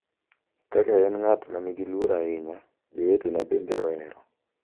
Kaka en ng’at ma nigi luor ahinya, jowetena bende ohero.